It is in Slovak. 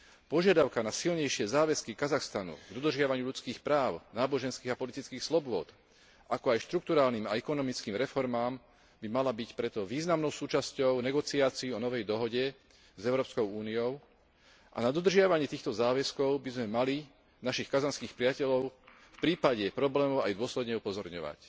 Požiadavka na silnejšie záväzky Kazachstanu, dodržiavanie ľudských práv, náboženských a politických slobôd, ako aj štrukturálne a ekonomické reformy by mala byť preto významnou súčasťou negociácií o novej dohode s Európskou úniou a na dodržiavanie týchto záväzkov by sme mali našich kazašských priateľov v prípade problémov aj dôsledne upozorňovať.